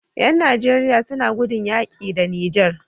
Yan nigeria suna gudun yaƙi da niger